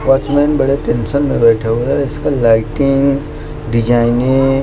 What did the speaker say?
watchman बड़े tension में बैठा हुआ है इसका लाइटिंग डिजाइने --